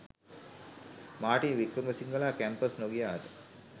Martin වික්‍රමසිංහලා campus නොගියාට